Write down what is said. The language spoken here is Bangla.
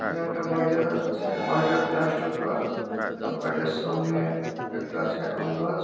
এখানে একটা বাড়ি দেখা বাজছে বাড়িটা প্লাস্টার করা আর বাড়িটার সামনে একটা আছে আমি গাছ।